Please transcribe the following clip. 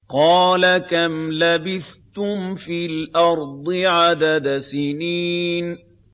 قَالَ كَمْ لَبِثْتُمْ فِي الْأَرْضِ عَدَدَ سِنِينَ